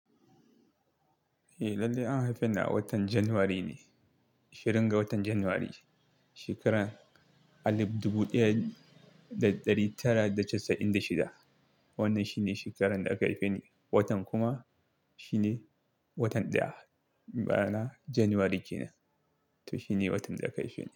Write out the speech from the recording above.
Eh, lallai an haife ni a watan Janairu ne, ahirin ga watan Janairu, shekarar alif dubu ɗaya da ɗari tara da casa'in da shida. Wannan shi ne shekarar da aka haife ni. Watan kuma shi ne watan daya bana Janairu ke nan, to shi ne watan da aka haife ni.